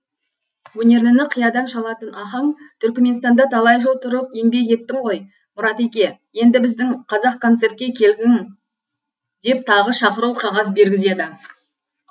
өнерліні қиядан шалатын ахаң түрікменстанда талай жыл тұрып еңбек еттің ғой мұратеке енді біздің қазақконцертке келгін деп тағы шақыру қағаз бергізеді